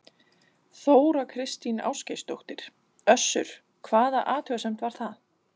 Þóra Kristín Ásgeirsdóttir: Össur, hvaða athugasemd var það?